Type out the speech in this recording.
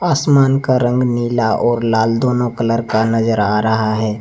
आसमान का रंग नीला और लाल दोनों कलर का नजर आ रहा है।